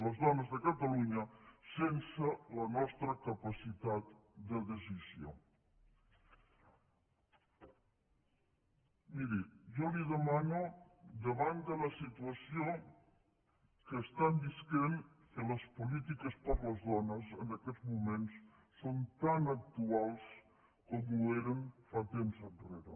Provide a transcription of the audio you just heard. les dones de catalunya sense la nostra capacitat de decisió miri jo li demano davant de la situació que estan vivint que les polítiques per a les dones en aquests moments són tan actuals com ho eren fa temps enrere